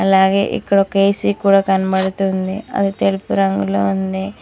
అలాగే ఇక్కడ ఒక ఏ_సీ కూడా కనబడుతుంది అది తెలుపు రంగులో ఉంది.